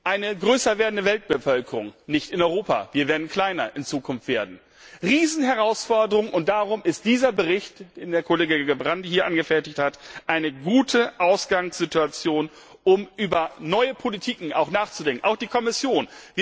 Eine größer werdende Weltbevölkerung nicht in Europa, wir werden in Zukunft kleiner werden ist eine Riesenherausforderung, und darum ist dieser Bericht, den der Kollege Gerbrandy hier angefertigt hat, eine gute Ausgangssituation, um über neue politische Strategien nachzudenken, auch für die Kommission.